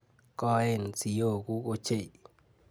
Koen siokuk ochei.